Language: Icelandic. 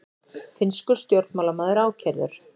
Finnskur stjórnmálamaður ákærður